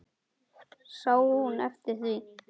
Sá hún eftir því?